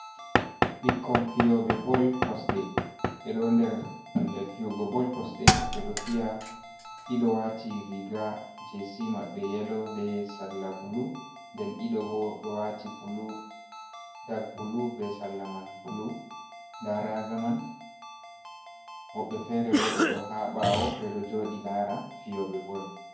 Ɓikkon fiyobe bol kosde, ɓe ɗo nder pellel fiyugo bol kosɗe ɓe ɗo fiya. Ɗiɗo wati riga jesi maɓɓe yelo be sarla bulu. Nden ɗiɗo bo ɗo wati dak bulu be sarla man bulu. Nda raga man. Woɓɓe fere bo ɓe ɗo ha ɓawo ɓeɗo joɗi lara fiyobe bol.